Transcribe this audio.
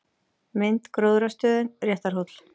Mynd: Gróðrarstöðin Réttarhóll